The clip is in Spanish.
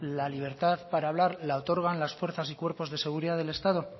la libertad para hablar la otorgan las fuerzas y cuerpos de seguridad del estado